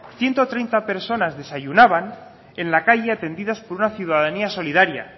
ciento treinta personas desayunaban en la calle atendidas por una ciudadanía solidaria